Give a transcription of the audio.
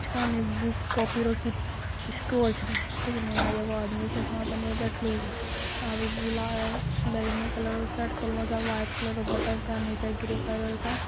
सामने book copy रखी store छै | एगो आदमी चस्मा पेहेन के बैठलो छे ओजा और उ बुला बैगनी कलर के शर्ट पेन्हलो अ व्हाइट कलर के बटन त निचे इ ग्रे कलर का --